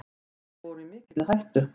Þeir voru í mikilli hættu.